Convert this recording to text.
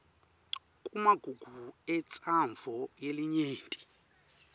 kumagugu entsandvo yelinyenti